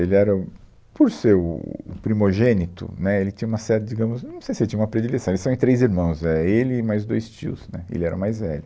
Ele era o, por ser o o primogênito, né, ele tinha uma série, digamos, hum, eu não sei se ele tinha uma predileção, eles são em três irmãos, éh, ele e mais dois tios, né, ele era o mais velho.